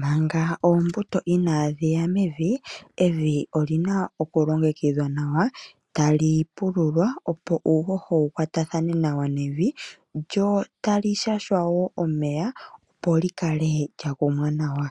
Manga oombuto inaadhi ya mevi, evi oli na okulongekidhwa nawa, tali pululwa, opo uuhoho wu kwatathane nawa nevi lyo tali shashwa wo omeya, opo li kale lya kumwa nawa